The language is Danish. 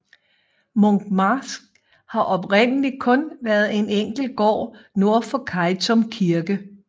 Munkmarsk har oprindelig kun været en enkelt gård nord for Kejtum kirke